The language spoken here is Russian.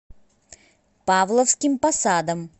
павловским посадом